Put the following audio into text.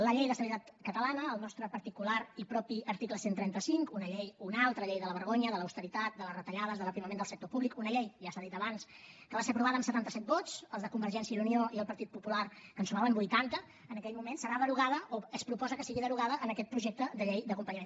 la llei d’estabilitat catalana el nostre particular i propi article cent i trenta cinc una llei una altra llei de la vergonya de l’austeritat de les retallades de l’aprimament del sector públic una llei i ja s’ha dit abans que va ser aprovada amb setanta set vots els de convergència i unió i el partit popular que en sumaven vuitanta en aquell moment serà derogada o es proposa que sigui derogada en aquest projecte de llei d’acompanyament